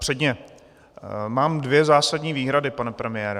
Předně mám dvě zásadní výhrady, pane premiére.